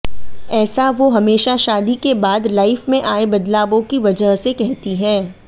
ऐसा वो हमेशा शादी के बाद लाइफ में आए बदलावों की वजह से कहती हैं